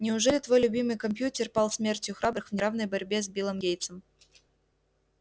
неужели твой любимый компьютер пал смертью храбрых в неравной борьбе с биллом гейтсом